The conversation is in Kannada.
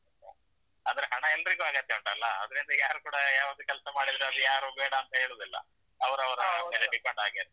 ಅಂದ್ರೆ ಹಣ ಎಲ್ರಿಗೂ ಅಗತ್ಯ ಉಂಟಲ್ಲಾ ಆದ್ರಿಂದ ಯಾರು ಕೂಡ ಯಾವುದೇ ಕೆಲಸ ಮಾಡಿದ್ರೆ ಅದು ಯಾರೂ ಬೇಡ ಅಂತ ಹೇಳುದಿಲ್ಲ. ಅಂದ್ರೆ ಹಣ ಎಲ್ರಿಗೂ ಅಗತ್ಯ ಉಂಟಲ್ಲಾ, ಆದ್ರಿಂದ ಯಾರು ಕೂಡ, ಯಾವುದೇ ಕೆಲಸ ಮಾಡಿದ್ರೆ ಅದು ಯಾರೂ ಬೇಡ ಅಂತ ಹೇಳುದಿಲ್ಲ, ಅವರವರ depend ಇರ್ತದೆ.